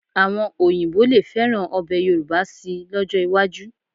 Àwọn Òyìnbó lè fẹ́ràn ọbẹ̀ Yorùbá síi lọ́jọ́ iwájú